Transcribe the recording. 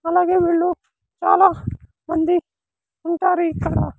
అలాగే వీళ్ళు చాలా మంది ఉంటారు ఇక్కడ.